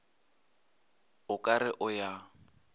o ka re o ya